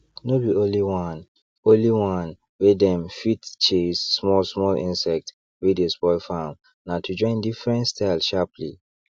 no be only one only one way dem fit take chase small small insects wey dey spoil farm na to join different style sharply